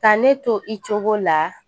Ka ne to i cogo la